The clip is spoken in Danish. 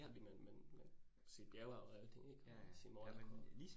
Fordi man man man se bjerge og alting ik? Og se marker